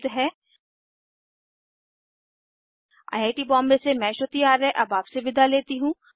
httpspoken tutorialorgNMEICT Intro I I T Bombay से मैं श्रुति आर्य अब आपसे विदा लेती हूँ